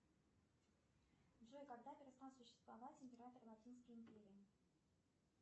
джой когда перестал существовать император латинской империи